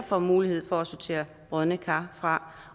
får mulighed for at sortere brodne kar fra